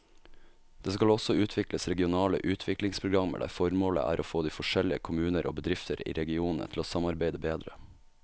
Det skal også utvikles regionale utviklingsprogrammer der formålet er å få de forskjellige kommuner og bedrifter i regionene til å samarbeide bedre.